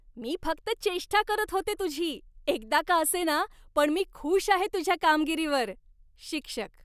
मी फक्त चेष्टा करत होते तुझी. एकदा का असेना, पण मी खूष आहे तुझ्या कामगिरीवर. शिक्षक